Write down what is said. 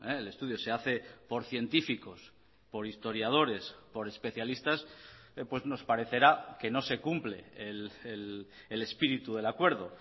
el estudio se hace por científicos por historiadores por especialistas pues nos parecerá que no se cumple el espíritu del acuerdo